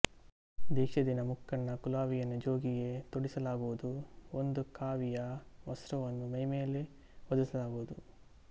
ದೀಕ್ಷೆಯ ದಿನ ಮುಕ್ಕಣ್ಣ ಕುಲಾವಿಯನ್ನು ಜೋಗಿಗೆ ತೊಡಿಸಲಾಗುವುದು ಒಂದು ಕಾವಿಯ ವಸ್ತ್ರವನ್ನು ಮೈಮೇಲೆ ಹೊದಿಸಲಾಗುವುದು